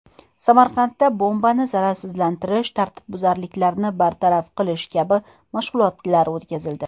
Samarqandda bombani zararsizlantirish, tartibbuzarliklarni bartaraf qilish kabi mashg‘ulotlar o‘tkazildi.